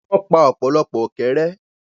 wọ́n pa ọ̀pọ̀lọpọ̀ “ ọ̀kẹ́rẹ́”.